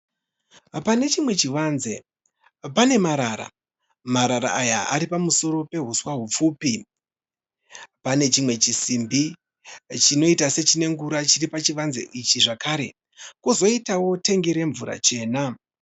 Pane chimwe chivanze pane marara. Marara aya ari pamusoro pehuswa hupfupi. Pane chimwe chisimbi chinoita sechinengura chiri pachivanze ichi zvakare. kozoitawo tengi remvura chena.